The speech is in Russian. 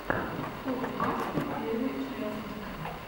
топ баскет первая часть